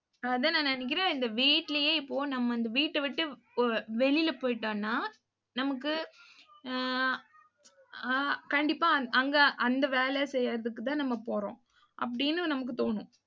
அதான் நான் நினைக்கிறேன் இந்த வீட்டுலயே, இப்போ நம்ம இந்த வீட்டை விட்டு போ~ வெளியில போயிட்டோன்னா நமக்கு அஹ் அஹ் கண்டிப்பா அங்க அந்த வேலை செய்யறதுக்குதான் நம்ம போறோம் அப்படின்னு நமக்கு தோணும்.